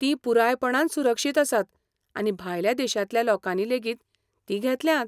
तीं पुरायपणान सुरक्षीत आसात आनी भायल्या देशांतल्या लोकांनीलेगीत तीं घेतल्यांत